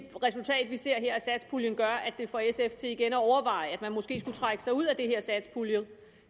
det resultat vi ser her af satspuljen gør at det får sf til igen at overveje man måske skulle trække sig ud at det